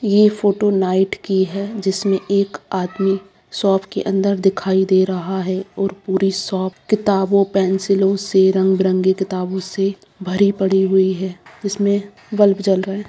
ये photo night की है जिसमें एक आदमी शॉप के अंदर दिखाई दे रहा है और पूरी शॉप के किताबों पेंसिलो से रंग-बिरंगे किताबों से भरी पड़ी हुई है जिसमें बल्ब जल रहा है।